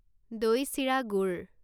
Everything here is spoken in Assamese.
দৈ চিৰা গুড়